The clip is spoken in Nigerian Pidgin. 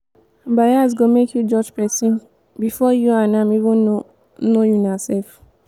bias go make you judge pesin before you and am even know know unaself.